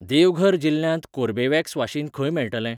देवघर जिल्ल्यांत कोर्बेवॅक्स वाशीन खंय मेळटलें?